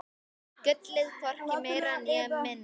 Gullið, hvorki meira né minna.